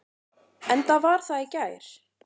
Enda var það í gær.